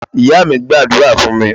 Ìyá mí gbàdúrà fún mi